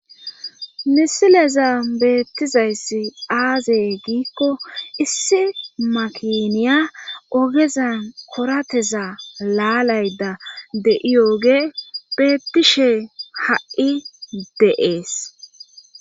misileza beettizayssi aaze giikko issi makiniya ogezan korateza laalayda de7iyooge bettishe ha7i de7ees